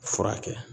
Furakɛ